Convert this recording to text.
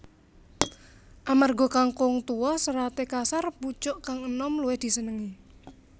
Amarga kangkung tuwa seraté kasar pucuk kang enom luwih disenengi